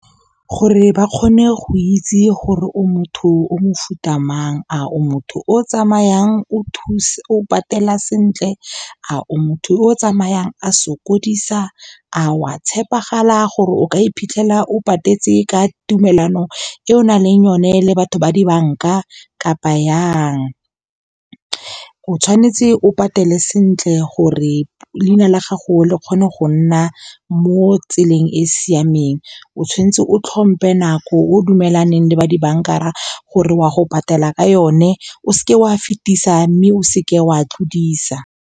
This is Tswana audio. Gore ba kgone go itse gore o motho o mofuta mang, a o motho o tsamayang o patela sentle, a o motho yo o tsamayang a sokodisa, a wa tshepegala gore o ka iphitlhela o patetse ka tumelano e o nang le yone le batho ba dibanka kapa yang. O tshwanetse o patele sentle gore leina la gago le kgone go nna mo tseleng e siameng. O tshwanetse o tlhompe nako o dumelaneng le ba dibankara gore wa go patela ka yone, o seke wa fetisa, mme o seke wa tlodisa.